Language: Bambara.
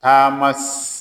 Taama